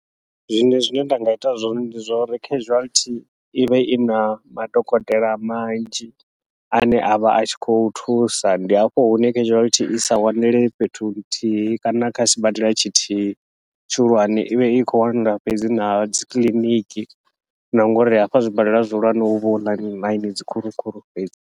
Zwiṅwe zwine nda nga ita zwone ndi zwa uri, casualty ivha ina madokotela manzhi ane avha atshi khou thusa ndi hafho hune casualty isa wanele fhethu nthihi kana kha sibadela tshithihi tshihulwane, ivha i khou wanala fhedzi na dzi kiḽiniki na ngauri hafha zwibadela zwihulwane huvha huna ḽine dzi khulu khulu fhedzi.